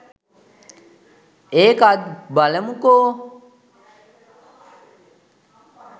ඒකත් බලමු කෝ